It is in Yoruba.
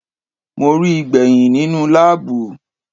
Mo ríi gbẹ̀hìn nínú láàbù.